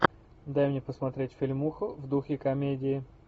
дай мне посмотреть фильмуху в духе комедии